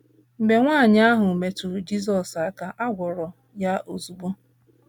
Mgbe nwaanyị ahụ metụrụ Jizọs aka, a gwọrọ ya ozugbo.